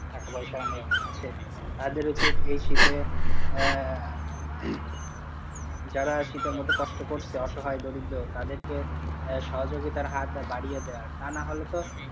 টাকাপয়সা অনেক আছে, তাদের উচিত এই শীতে আহ হম যারা শীতে মতো কষ্ট করছে অসহায় দরিদ্র তাদের কে সহযোগিতার হাত বাড়িয়ে দেওয়ার, তা না হলে তো,